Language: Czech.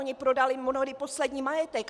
Oni prodali mnohdy poslední majetek.